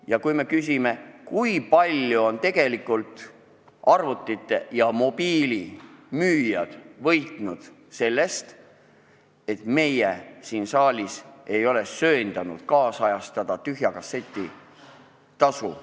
Me võime ka küsida, kui palju on arvuti- ja mobiilimüüjad võitnud sellest, et meie siin saalis ei ole söandanud ajakohastada tühja kasseti tasu.